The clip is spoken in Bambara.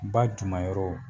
Ba dunmayɔrɔw